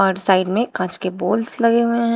हर side में कांच के बॉल्स लगे हुए हैं।